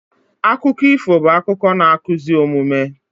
Akụkọ ifo bụ akụkọ na-akụzi omume